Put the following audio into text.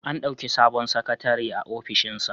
An ɗauki sabon sakatare a ofishinsa.